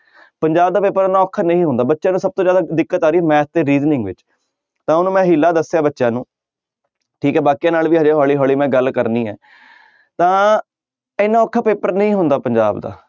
ਪੰਜਾਬ ਦਾ ਪੇਪਰ ਇੰਨਾ ਔਖਾ ਨਹੀਂ ਹੁੰਦਾ ਬੱਚਿਆਂ ਨੂੰ ਸਭ ਤੋਂ ਜ਼ਿਆਦਾ ਦਿੱਕਤ ਆ ਰਹੀ math ਤੇੇ reasoning ਵਿੱਚ, ਤਾਂ ਮੈਂ ਹੀਲਾ ਦੱਸਿਆ ਬੱਚਿਆਂ ਨੂੰ ਠੀਕ ਹੈ ਬਾਕੀਆਂ ਨਾਲ ਵੀ ਹਜੇ ਹੌਲੀ ਹੌਲੀ ਮੈਂ ਗੱਲ ਕਰਨੀ ਹੈ ਤਾਂ ਇੰਨਾ ਔਖਾ ਪੇਪਰ ਨਹੀਂ ਹੁੰਦਾ ਪੰਜਾਬ ਦਾ।